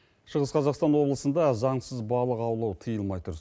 шығыс қазақстан облысында заңсыз балық аулау тиылмай тұр